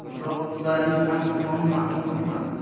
Biroq ularning aniq soni ma’lum emas.